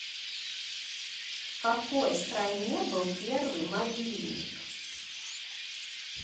в какой стране был первый мобильник